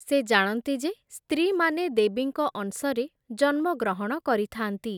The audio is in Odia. ସେ ଜାଣନ୍ତି ଯେ, ସ୍ତ୍ରୀମାନେ ଦେବୀଙ୍କ ଅଂଶରେ ଜନ୍ମଗ୍ରହଣ କରିଥାନ୍ତି ।